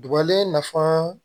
Duguba nafan